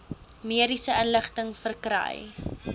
mediese inligting verkry